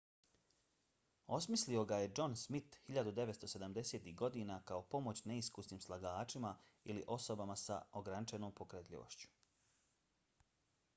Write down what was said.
osmislio ga je john smith 1970-ih godina kao pomoć neiskusnim slagačima ili osobama s ograničenom pokretljivošću